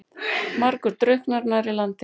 Margur drukknar nærri landi.